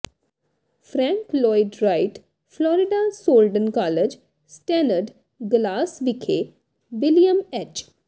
Frank Lloyd Wright Florida Southern college stained glass ਵਿਖੇ William H